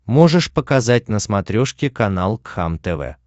можешь показать на смотрешке канал кхлм тв